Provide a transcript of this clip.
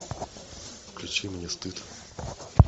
включи мне стыд